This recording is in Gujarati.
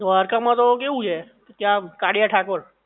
દ્વારકા માં તો કેવું છે કે ત્યાં કાળીયા ઠાકોર